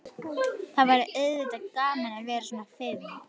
Það væri auðvitað gaman að vera svona fim.